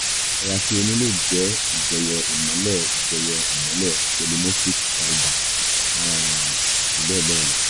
àìlera tí o ní lè jẹ́ ìjẹyọ ìmọ́lẹ̀ ìjẹyọ ìmọ́lẹ̀ polymorphic palba um àti bẹ́ẹ̀ bẹ́ẹ̀ lọ